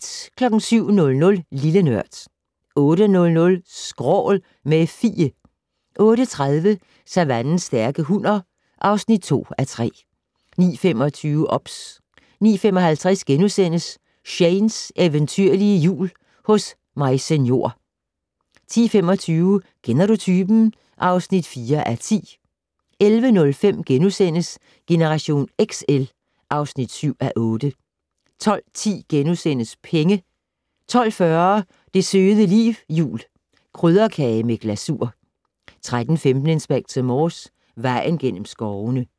07:00: Lille Nørd 08:00: Skrål - med Fie 08:30: Savannens stærke hunner (2:3) 09:25: OBS 09:55: Shanes eventyrlige Jul hos Maise Njor * 10:25: Kender du typen? (4:10) 11:05: Generation XL (7:8)* 12:10: Penge * 12:40: Det søde liv jul - Krydderkage med glasur 13:15: Inspector Morse: Vejen gennem skovene